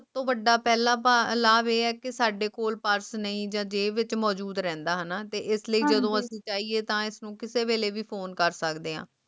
ਵੱਡਾ ਪਹਿਲਾਂ ਭਾਵ ਇਹ ਹੈ ਕਿ ਸਾਡੇ ਕੋਲ ਪਾਠ ਨਹੀਂ ਇਹਦੇ ਵਿੱਚ ਮੌਜੂਦ ਰਹਿੰਦੀਆਂ ਹਨ ਤੇ ਇਸ ਲਈ ਜਰੂਰੀ ਹੈ ਤਾਂ ਜੋ ਕਿਸੇ ਵੇਲੇ ਵੀ phone ਕਰਦੀ ਆ